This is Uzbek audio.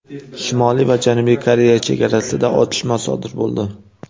Shimoliy va Janubiy Koreya chegarasida otishma sodir bo‘ldi.